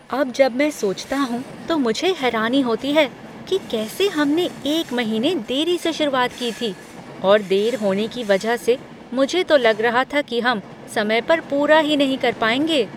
अब जब मैं सोचता हूँ तो मुझे हैरानी होती है कि कैसे हमने एक महीने देरी से शुरुआत की थी और देर होने की वजह से मुझे तो लग रहा था कि हम समय पर पूरा ही नहीं कर पाएंगे।